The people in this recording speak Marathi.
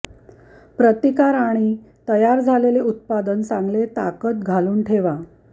प्रतिकार आणि तयार झालेले उत्पादन चांगले ताकद घालून ठेवा